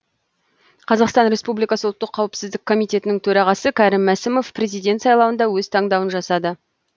қазақстан республикасы ұлттық қауіпсіздік комитетінің төрағасы кәрім мәсімов президент сайлауында өз таңдауын жасады